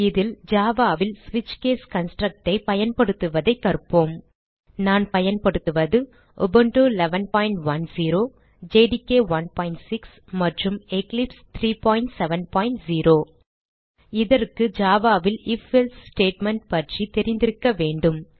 இதில் Java ல் ஸ்விட்ச் கேஸ் construct ஐ பயன்படுத்துவதைக் கற்போம் நான் பயன்படுத்துவது உபுண்டு 1110 ஜேடிகே 16 மற்றும் எக்லிப்ஸ் 370 இதற்கு java ல் ஐஎஃப் எல்சே ஸ்டேட்மெண்ட் பற்றி தெரிந்திருக்க வேண்டும்